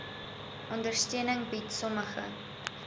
ondersteuning bied sommige